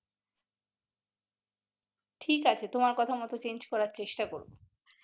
ঠিক আছে তোমার কথা মতো change করার চেস্টা করবো ।